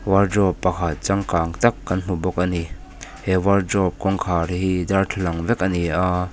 wardrobe pakhat changkâng tak kan hmu bawk a ni he wardrobe kawngkhâr hi darthlalang vek a ni a.